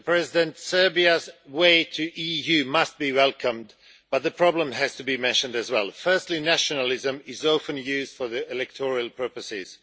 Mr President, Serbia's path to the EU must be welcomed, but the problems have to be mentioned as well. Firstly, nationalism is often used for electoral purposes.